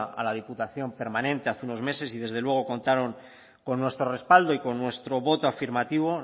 a la diputación permanente hace unos meses y desde luego contaron con nuestro respaldo y con nuestro voto afirmativo